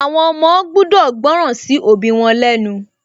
Àwọn ọmọ gbudọ̀ gbọ́ràn sí òbí wọn lẹ́ nu